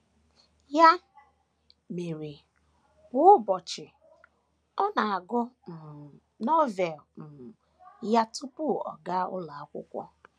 Ya mere, kwa ụbọchị, ọ na - agụ um Novel um ya tupu ọ gaa ụlọ akwụkwọ.